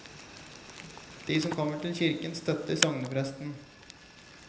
De som kommer til kirken, støtter sognepresten.